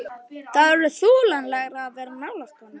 Það er orðið þolanlegra að vera nálægt honum.